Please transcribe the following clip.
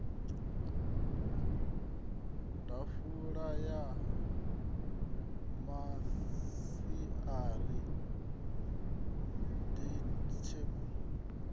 ḓafula ya masiari day table